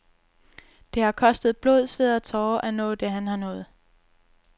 Det har kostet blod sved og tårer at nå det, han har nået.